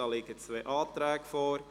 Dazu liegen zwei Anträge vor.